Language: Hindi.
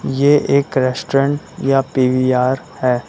ये एक रेस्टोरेंट या पी_वी_आर है।